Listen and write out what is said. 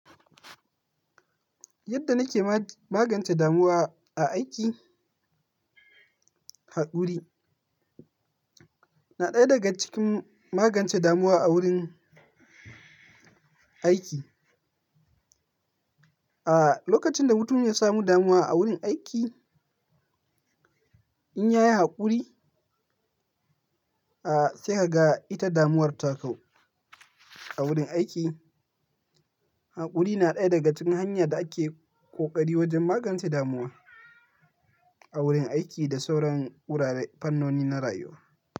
Yadda nake magance damuwa a aiki, haƙuri na ɗaya daga cikin magance damuwa a wurin aiki. A lokacin da mutum ya samu damuwa a wurin aiki, in ya yi haƙuri, a sai ka ga ita damuwar ta kau a wurin aiki. Haƙuri na ɗaya daga cikin hanya da ake ƙoƙari wajen magance damuwa a wurin aiki da sauran wurare fannoni na rayuwa.